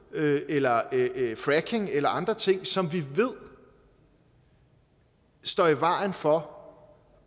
eller fracking eller andre ting som vi ved står i vejen for